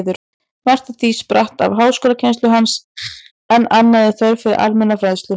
Margt af því spratt af háskólakennslu hans, en annað af þörf fyrir almenna fræðslu.